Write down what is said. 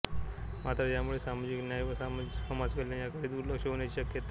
मात्र यामुळे सामाजिक न्याय व समाजकल्याण याकडे दुर्लक्ष होण्याची शक्यता असते